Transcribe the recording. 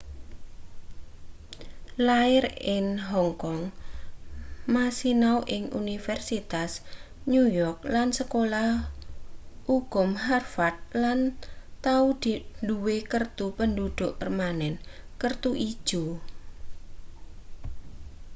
lair in hong kong ma sinau ing universitas new york lan sekolah ukum harvard lan tau duwe kertu penduduk permanen kertu ijo